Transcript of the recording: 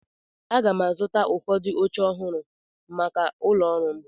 Aga m azụta ụfọdụ oche ọhụrụ maka ụlọ ọrụ m.